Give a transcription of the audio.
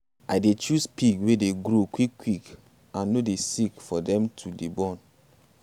i dey choose pig wey dey grow quick quick and no dey sick for them to dey born.